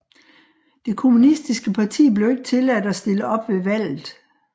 Det kommunistiske parti blev ikke tilladt at stille op ved valget